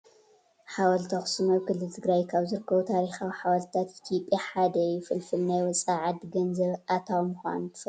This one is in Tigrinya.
ሓወልቲ ኣክሱም ኣብ ክልል ትግራይ ካብ ዝርከቡ ታሪኻዊ ሓወልትታት ኢትዮጵያ ሓደ እዩ። ፍልፍል ናይወፃኢ ዓዲ ገንዘብ ኣታዊ ምኳኑ ትፈልጡ ዶ ?